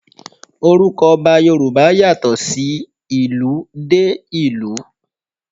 Orúkọ Ọba Yorùbá yàtọ̀ sí ìlú dé ìlú.